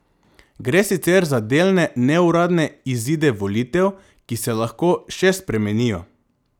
Gre sicer za delne neuradne izide volitev, ki se lahko še spremenijo.